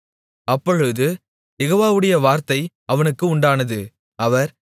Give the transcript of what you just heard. அப்பொழுது யெகோவாவுடைய வார்த்தை அவனுக்கு உண்டானது அவர்